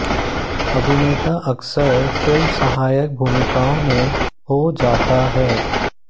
अभिनेता अक्सर फिल्म सहायक भूमिकाओं में हो जाता है